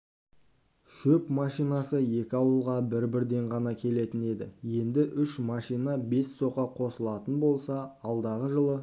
шөп машинасы екі ауылға бір-бірден ғана келетін еді енді үш машина бес соқа қосылатын болса алдағы жылы